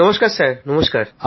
নমস্কার নমস্কার